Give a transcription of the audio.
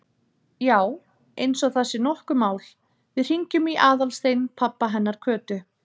Já, eins og það sé nokkuð mál, við hringjum í Aðalstein pabba hennar Kötu.